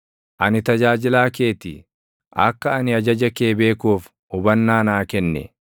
Ani tajaajilaa kee ti; akka ani ajaja kee beekuuf hubannaa naa kenni.